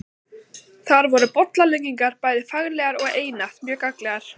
Þar voru bollaleggingar bæði faglegar og einatt mjög gagnlegar.